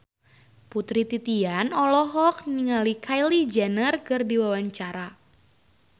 Putri Titian olohok ningali Kylie Jenner keur diwawancara